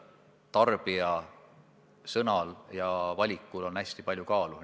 Tarbija sõnal ja valikul on hästi palju kaalu.